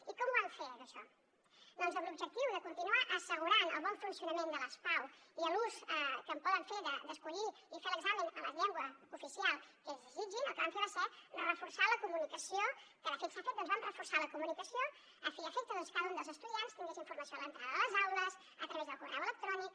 i com ho vam fer això doncs amb l’objectiu de continuar assegurant el bon funcionament de les pau i l’ús que poden fer d’escollir i fer l’examen en la llengua oficial que ells desitgin el que vam fer va ser reforçar la comunicació a fi i efecte que cada un dels estudiants tingués informació a l’entrada de les aules a través del correu electrònic